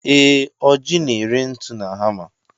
Ee, Ọji na-ere ntu na hama.